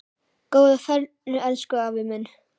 Góða ferð, elsku afi minn.